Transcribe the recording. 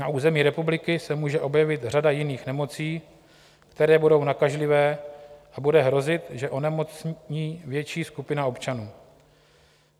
Na území republiky se může objevit řada jiných nemocí, které budou nakažlivé, a bude hrozit, že onemocní větší skupina občanů.